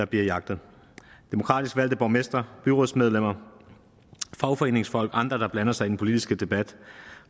bliver jagtet og demokratisk valgte borgmestre byrådsmedlemmer fagforeningsfolk og andre der blander sig i den politiske debat